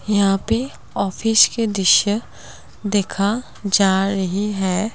यहां पे ऑफिस के दिश्य देखा जा रही है।